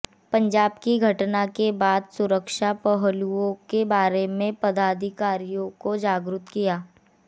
पंजाब की घटना के बाद सुरक्षा पहलुओं के बारे में पदाधिकारियों को जागरुक किया